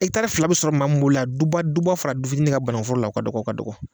fila bi sɔrɔ maa mi bolo yan duba duba fara dufitini kan bananku foro la, o ka dɔgɔ ka dɔgɔ.